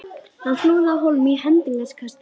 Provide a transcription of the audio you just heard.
Hann flúði af hólmi í hendingskasti.